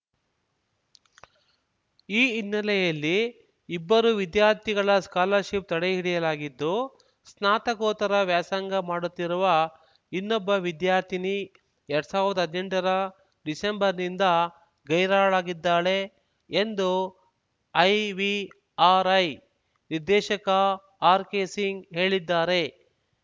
ಈ ಹಿನ್ನೆಲೆಯಲ್ಲಿ ಇಬ್ಬರು ವಿದ್ಯಾರ್ಥಿಗಳ ಸ್ಕಾಲರ್‌ಶಿಪ್‌ ತಡೆಹಿಡಿಯಲಾಗಿದ್ದು ಸ್ನಾತಕೋತ್ತರ ವ್ಯಾಸಂಗ ಮಾಡುತ್ತಿರುವ ಇನ್ನೊಬ್ಬ ವಿದ್ಯಾರ್ಥಿನಿ ಎರಡ್ ಸಾವಿರ್ದಾ ಹದ್ನೆಂಟರ ಡಿಸೆಂಬರ್‌ನಿಂದ ಗೈರಾಳಾಗಿದ್ದಾಳೆ ಎಂದು ಐವಿಆರ್‌ಐ ನಿರ್ದೇಶಕ ಆರ್‌ಕೆಸಿಂಗ್‌ ಹೇಳಿದ್ದಾರೆ